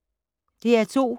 DR2